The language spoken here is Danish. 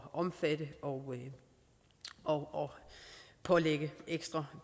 omfatte og og pålægge ekstra